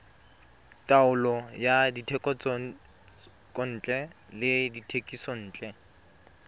taolo ya dithekontle le dithekisontle